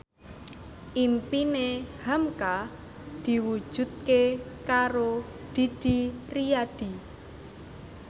impine hamka diwujudke karo Didi Riyadi